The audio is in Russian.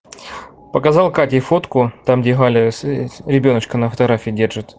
показал катей фотку там где галя ребёночка на фотографии держит